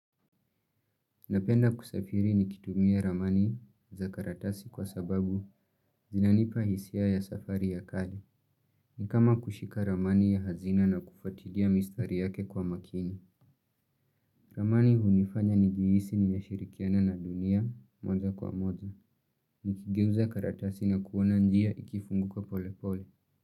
Napenda kusafiri nikitumia ramani za karatasi kwa sababu zinanipa hisia ya safari ya kali. Nikama kushika ramani ya hazina na kufuatilia mistari yake kwa makini. Ramani hunifanya nijihisi ni nashirikiana na dunia moja kwa moja. Nikigeuza karatasi na kuona njia ikifunguka pole pole.